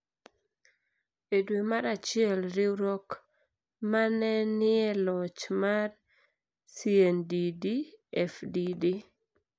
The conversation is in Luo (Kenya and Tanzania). E dwe mar achiel, riwruok ma ne ni e loch mar CNDD-FDD,